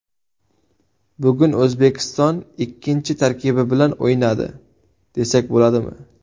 Bugun O‘zbekiston ikkinchi tarkibi bilan o‘ynadi, desak bo‘ladimi?